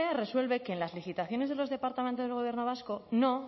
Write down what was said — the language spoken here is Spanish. resuelve que en las licitaciones de los departamentos del gobierno vasco no